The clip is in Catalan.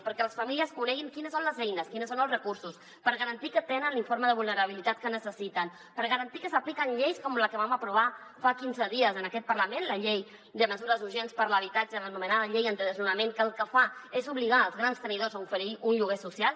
perquè les famílies coneguin quines són les eines quins són els recursos per garantir que tenen l’informe de vulnerabilitat que necessiten per garantir que s’apliquen lleis com la que vam aprovar fa quinze dies en aquest par·lament la llei de mesures urgents per a l’habitatge l’anomenada llei antidesnona·ments que el que fa és obligar els grans tenidors a oferir un lloguer social